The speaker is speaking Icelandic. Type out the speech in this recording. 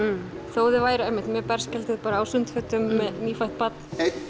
þó þau væru einmitt mjög berskjölduð á sundfötum með nýfætt barn